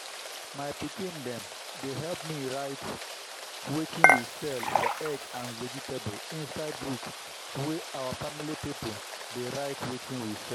my pikin dem dey help me write wetin we sell for egg and vegetable inside book wey our family pipo dey write wetin we sell.